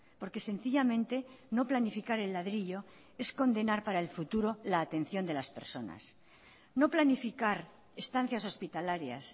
porque sencillamente no planificar el ladrillo es condenar para el futuro la atención de las personas no planificar estancias hospitalarias